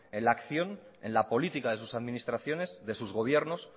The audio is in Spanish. en la acción en la política de sus administraciones de sus gobiernos